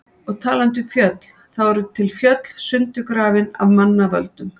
Og talandi um fjöll, þá eru til fjöll sundurgrafin af manna völdum.